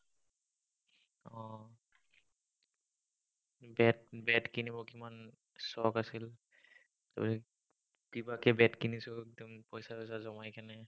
bat bat কিনিব কিমান চখ আছিল। আহ কিবাকে bat কিনিছো, একদম পইছা-য়ইছা জমাই ।